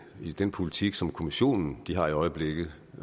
i den politik som kommissionen har i øjeblikket